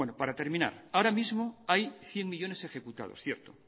para terminar ahora mismo hay cien millónes ejecutados cierto